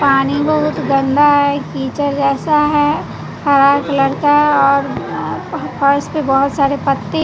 पानी बहुत गंदा है कीचड़ जैसा है हरा कलर का और फर्श पे बहोत सारे पत्ती--